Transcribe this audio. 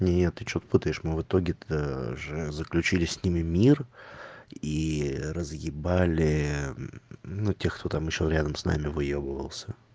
нет ты что-то путаешь мы в итоге то заключили с ними мир и разъебали ну те кто там ещё рядом с нами выебывался